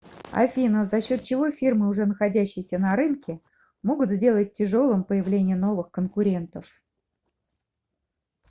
афина за счет чего фирмы уже находящиеся на рынке могут сделать тяжелым появление новых конкурентов